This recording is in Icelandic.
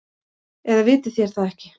Eða vitið þér það ekki.